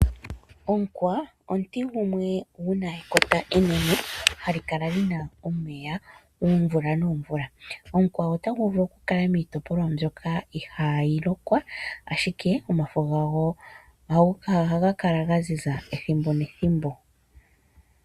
Omukwa omuti gumwe guna ekota enene hali kala lina omeya oomvula noomvula. Omukwa otagu vulu okukala miitopolwa mbyoka ihaayi lokwa ashike omafo gago ohaga kala gaziza ethimbo nethimbo.